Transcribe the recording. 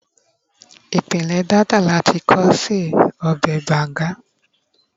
ipinle Delta lati kọ́ se ọbè banga